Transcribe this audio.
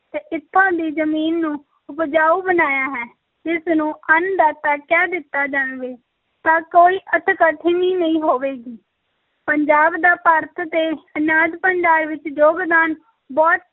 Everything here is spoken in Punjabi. ਤੇ ਇੱਥੋਂ ਦੀ ਜ਼ਮੀਨ ਨੂੰ ਉਪਜਾਊ ਬਣਾਇਆ ਹੈ, ਇਸ ਨੂੰ ਅੰਨ ਦਾਤਾ ਕਹਿ ਦਿੱਤਾ ਜਾਵੇ ਤਾਂ ਕੋਈ ਅਤਿਕਥਨੀ ਨਹੀਂ ਹੋਵੇਗੀ, ਪੰਜਾਬ ਦਾ ਭਾਰਤ ਦੇ ਅਨਾਜ ਭੰਡਾਰ ਵਿੱਚ ਯੋਗਦਾਨ ਬਹੁਤ